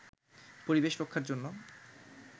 পরিবেশ রক্ষার জন্য